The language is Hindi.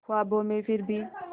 ख्वाबों में फिर भी